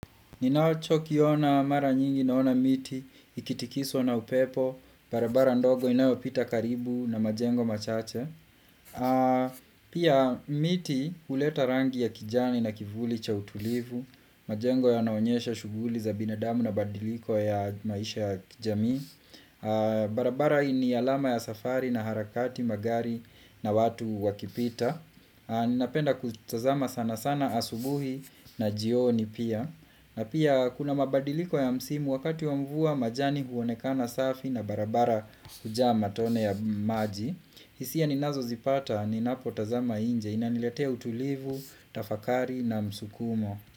Ninacho kiona mara nyingi naona miti, ikitikiswa na upepo, barabara ndogo inayo pita karibu na majengo machache Pia miti huleta rangi ya kijani na kivuli cha utulivu, majengo yanaonyesha shuguli za binadamu na badiliko ya maisha ya kijamii barabara ni alama ya safari na harakati magari na watu wakipita Ninapenda kutazama sana sana asubuhi na jioni pia na pia kuna mabadiliko ya msimu wakati wa mvua majani huonekana safi na barabara hujaa matone ya maji hisia ninazo zipata ninapo tazama nje inaniletea utulivu, tafakari na msukumo.